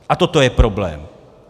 A toto je problém.